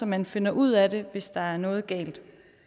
man finder ud af det hvis der er noget galt